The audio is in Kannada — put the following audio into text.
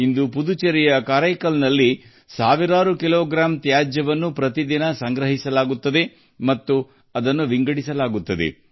ಇಂದು ಪುದುಚೇರಿಯ ಕಾರೈಕಲ್ನಲ್ಲಿ ಪ್ರತಿದಿನ ಸಾವಿರಾರು ಕಿಲೋಗ್ರಾಂಗಳಷ್ಟು ಕಸವನ್ನು ಸಂಗ್ರಹಿಸಿ ವಿಂಗಡಿಸಲಾಗುತ್ತದೆ